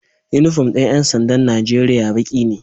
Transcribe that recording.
Inufom din yansandan Nigeria Baki ne